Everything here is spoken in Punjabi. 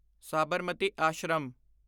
ਸਾਬਰਮਤੀ ਆਸ਼ਰਮ